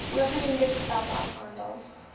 bogenoemde stappe afgehandel